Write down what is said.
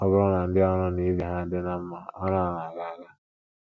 Ọ bụrụ na ndị ọrụ na ibe ha dị ná mma, ọrụ a na - aga aga.